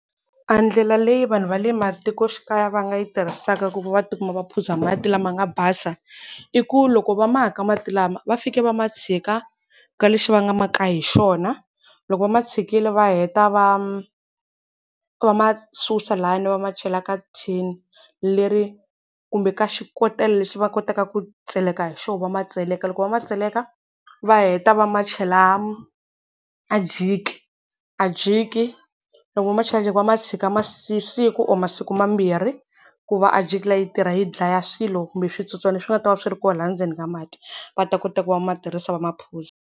A ndlela leyi vanhu va le matikoxikaya va nga yi tirhisaka ku va ti kuma va phuza mati lama nga basa, i ku loko va ma ka mati lama, va fike va ma tshika ka lexi va nga ma ka hi xona. Loko va ma tshikile va heta va, va ma susa lani va machela ka tin leri kumbe ka xikotela lexi va kotaka ku tseleka hi xona va ma tseleka. Loko va ma tseleka, va heta va ma chela ajiki. Ajiki, loko va ma chela jiki va ma tshika siku or masiku mambirhi, ku va ajiki liya yi tirha yi dlaya swilo kumbe switsotswana swi nga ta va swi ri kona laha endzeni ka mati. Va ta kota ku va ma tirhisa va maphuza.